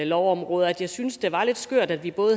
lovområder at jeg syntes det var lidt skørt at vi